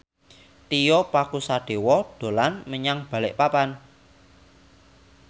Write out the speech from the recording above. Tio Pakusadewo dolan menyang Balikpapan